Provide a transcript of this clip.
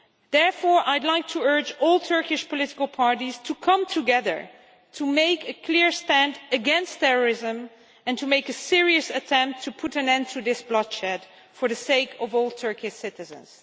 Therefore, I would like to urge all Turkish political parties to come together to make a clear stand against terrorism, and to make a serious attempt to put an end to this bloodshed for the sake of all Turkish citizens.